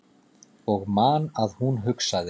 Og man að hún hugsaði